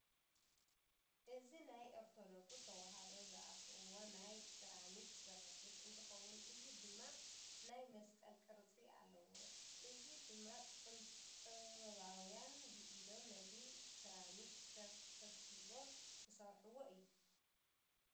እዚ ናይ ኦርተደኩስ ተዋህዶ ዝኣስርዎ ናይ ስራሚክ ስሪሒት እንተከውን እዚ ድማ ናይ መስቀል ቅርፂ ኣለዎ። እዘዚ ድማ ጥበባውያ ብኢዶም ነቲ ስራሚክ ፈግፊጎም ዝሰርሕዎ እዩ።